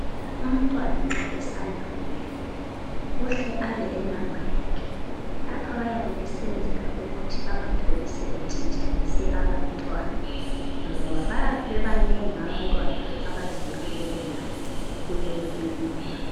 Umntwana nxa esanda ukubelethwa uhle abe lenumba yakhe. Lapha bayabe sebesenzela ukuthi bengatholi sebetshintshanise abantwana ngoba bayabe bebanengi abantwana abazelwe lelo langa kuleyo kilinika.